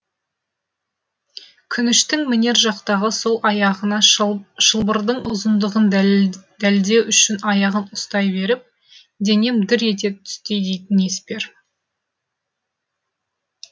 күніштің мінер жақтағы сол аяғына шылбырдың ұзындығын дәлдеу үшін аяғын ұстай беріп денем дір ете түсті дейтін еспер